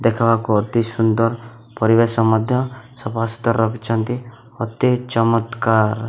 ଦେଖବାକୁ ଅତି ସୁନ୍ଦର୍ ପରିବେଶ ମଧ୍ୟ ସଫା ଶୁତର୍ ରଖିଛନ୍ତି। ଅତି ଚମତ୍କାର୍ --